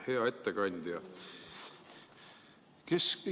Hea ettekandja!